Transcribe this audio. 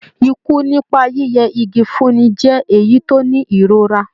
Ikú nípa yíyẹ igi fúnni jẹ́ èyí tó ní ìrora.